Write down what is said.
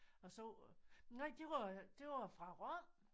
Jeg så nej det var det var fra Rom